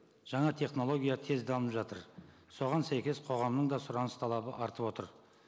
жаңа технология тез дамып жатыр соған сәйкес қоғамның да сұраныс талабы артып отыр